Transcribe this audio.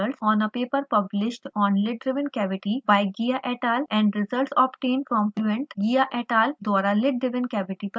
validate the results on a paper published on lid driven cavity by : ghia et al 1982 and results obtained from fluent ghia et al 1982 द्वारा lid driven cavity पर प्रकाशित paper